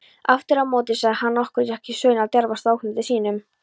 Afturámóti sagði hann okkur ekki söguna af djarfasta óknytti sínum.